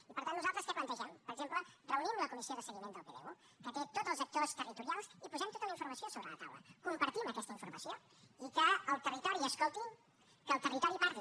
i per tant nosaltres què plantegem per exemple reunim la comissió de seguiment del pdu que té tots els actors territorials i posem tota la informació sobre la taula compartim aquesta informació i que el territori escolti que el territori parli